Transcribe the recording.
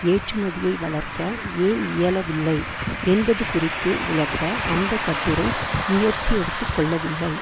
ஏற்றுமதியை வளர்க்க ஏன் இயலவில்லை என்பது குறித்து விளக்க அந்த கட்டுரை முயற்சி எடுத்து கொள்ளவில்லை